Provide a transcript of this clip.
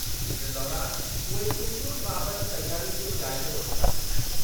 इन दौरानि उहे चूंडुनि बाबति तयारियुनि जो जाइज़ो वठंदा।